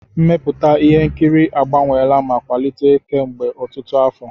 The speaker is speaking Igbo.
Mmepụta ihe nkiri agbanweela ma kwalite kemgbe ọtụtụ afọ.